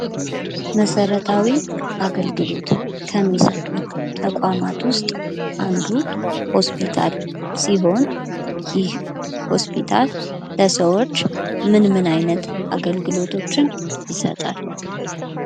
መሰረታዊ አገልግሎት ከሚሰጡ ተቋማት ዉስጥ አንዱ ሆስፒታል ሲሆን፤ ይህ ሆስፒታል ለሰዎች ምን ምን አገልግሎቶችን ይሰጣል?